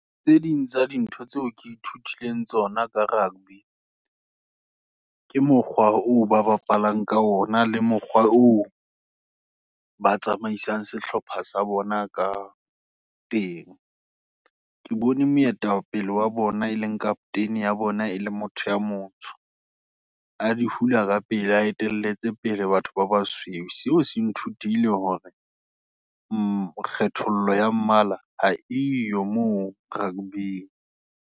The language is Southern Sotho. Tse ding tsa dintho, tseo ke ithutileng tsona ka rugby, ke mokgwa o ba bapalang ka ona, le mokgwa oo, ba tsamaisang sehlopha sa bona ka teng. Ke bone moetapele wa bona, e leng Captain ya bona, e le motho ya motsho, a di hula kapele, a etelletse pele, batho ba ba sweu. Seo se nthutile hore kgethollo ya mmala, ha eyo moo Rugby.